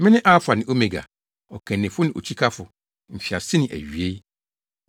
Mene Alfa ne Omega, Ɔkannifo ne Okyikafo, Mfiase ne Awiei.